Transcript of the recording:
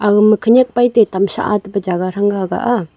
agama khenyak paete tam sah e pa jaga thranga ahah a.